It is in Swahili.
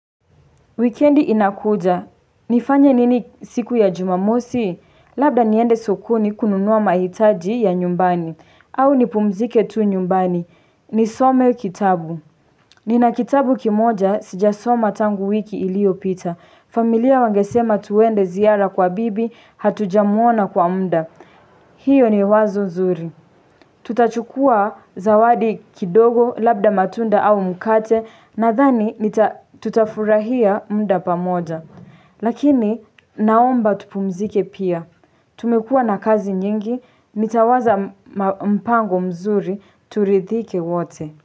Wikendi inakuja. Nifanye nini siku ya jumamosi? Labda niende sokoni kununua mahitaji ya nyumbani. Au nipumzike tu nyumbani. Nisome kitabu. Nina kitabu kimoja sijasoma tangu wiki iliopita. Familia wangesema twende ziara kwa bibi, hatujamuona kwa muda. Hiyo ni wazo zuri. Tutachukua zawadi kidogo labda matunda au mkate nadhani tutafurahia muda pamoja. Lakini naomba tupumzike pia. Tumekuwa na kazi nyingi, nitawaza mpango mzuri turidhike wote.